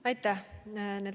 Aitäh!